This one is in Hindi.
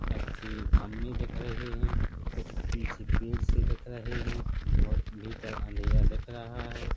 अच्छे खंभे दिख रहे है और पीछे कुछ पेड़ से दिख रहे है बहुत भीतर अंधेरा दिख रहा है।